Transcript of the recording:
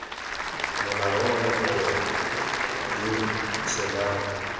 molao ono gongwe b tsholang